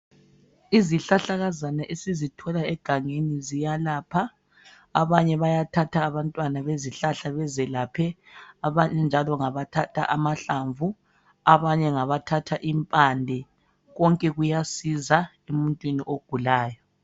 Izihlahlakazana esizithola egangeni ziyalapha abanye bayathatha abantwana bezihlahla bazelaphe abanye njalo ngabathatha amahlamvu abanye ngabathatha impande konke kuyasiza emuntwini ogulayo.